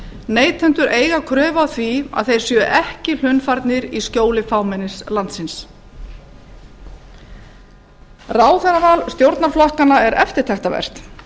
neytendur eiga kröfu á því að þeir séu ekki hlunnfarnir í skjóli fámennis landsins ráðherraval stjórnarflokkanna er eftirtektarvert